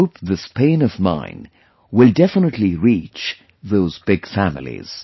I hope this pain of mine will definitely reach those big families